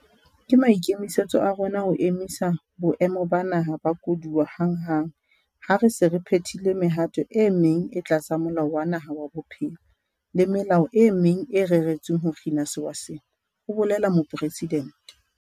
"Ke maikemisetso a rona ho emisa Boemo ba Naha ba Koduwa hanghang ha re se re phethile mehato e meng e tlasa Molao wa Naha wa Bophelo le melao e meng e reretsweng ho kgina sewa sena," ho boletse Mopresidente.